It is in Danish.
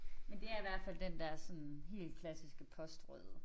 Men det er i hvert fald den der sådan helt klassiske postrøde